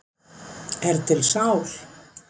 Er til sál?